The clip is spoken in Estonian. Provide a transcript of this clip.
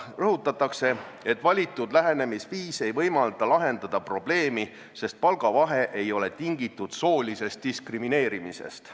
Rõhutatakse, et valitud lähenemisviis ei võimalda lahendada probleemi, sest palgavahe ei ole tingitud soolisest diskrimineerimisest.